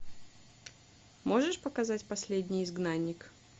можешь показать последний изгнанник